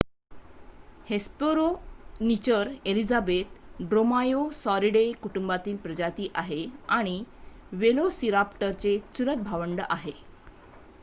Hesperonychus elizabethae Dromaeosauridae कुटुंबातील प्रजाती आहे आणि वेलोसिराप्टरचे चुलत भावंड आहे